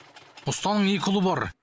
ұстаның екі ұлы бар